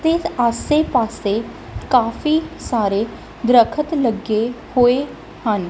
ਤੇ ਆਸੇ ਪਾੱਸੇ ਕਾਫੀ ਸਾਰੇ ਦਰੱਖਤ ਲੱਗੇ ਹੋਏ ਹਨ।